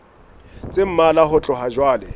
tse mmalwa ho tloha jwale